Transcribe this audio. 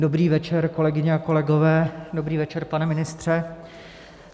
Dobrý večer, kolegyně a kolegové, dobrý večer, pane ministře.